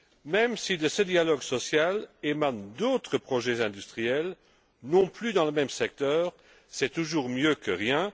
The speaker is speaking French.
Même si de ce dialogue social émanent d'autres projets industriels dans d'autres secteurs, c'est toujours mieux que rien.